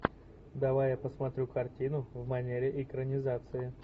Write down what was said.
давай я посмотрю картину в манере экранизация